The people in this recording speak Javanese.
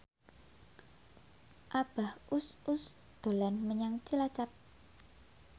Abah Us Us dolan menyang Cilacap